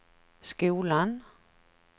skolan